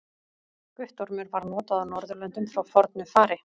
Guttormur var notað á Norðurlöndum frá fornu fari.